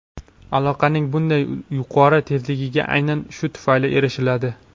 Aloqaning bunday yuqori tezligiga aynan shu tufayli erishiladi.